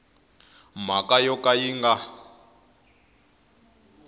mhaka yo ka yi nga